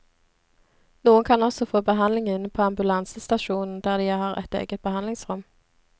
Noen kan også få behandling inne på ambulansestasjonen der de har et eget behandlingsrom.